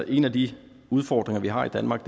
en af de udfordringer vi har i danmark